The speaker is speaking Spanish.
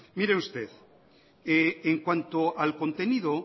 mire usted en cuanto al contenido